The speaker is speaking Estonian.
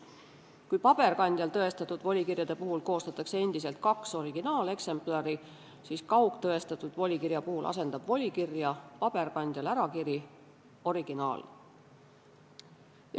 Kui paberkandjal tõestatud volikirjade puhul koostatakse endiselt kaks originaaleksemplari, siis kaugtõestatud volikirja puhul asendab volikirja paberkandjal ärakiri originaali.